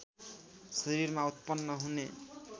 शरीरमा उत्पन्न हुने